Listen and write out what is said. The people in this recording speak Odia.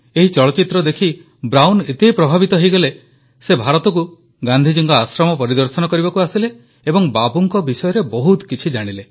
ଏହି ଚଳଚ୍ଚିତ୍ର ଦେଖି ବ୍ରାଉନ୍ ଏତେ ପ୍ରଭାବିତ ହେଲେ ଯେ ସେ ଭାରତକୁ ଗାନ୍ଧିଜୀଙ୍କ ଆଶ୍ରମ ପରିଦର୍ଶନ କରବାକୁ ଆସିଲେ ଏବଂ ବାପୁଙ୍କ ବିଷୟରେ ବହୁତ କିଛି ଜାଣିଲେ